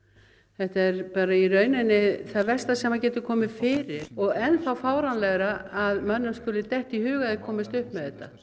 þetta er í rauninni það versta sem getur komið fyrir og enn þá fáránlegra að mönnum skuli detta í hug að þeir komist upp með þetta